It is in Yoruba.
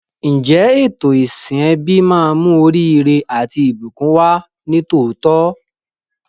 Ǹjẹ́ ètò ìsìn ẹbí máa mú oríire àti ìbùkún wá ní tòótọ́?